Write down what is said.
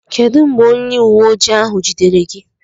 Kedụ mgbe onye uweojii ahụ jidere gị?